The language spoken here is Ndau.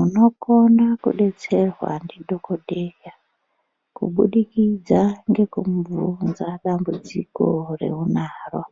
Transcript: Inokona kudetserwa ndidhokodheya kubudikidza ngekumubvunza dambudziko reunaro